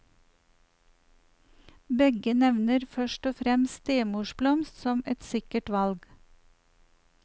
Begge nevner først og fremst stemorsblomst som et sikkert valg.